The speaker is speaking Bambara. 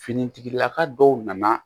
Finitigilaka dɔw nana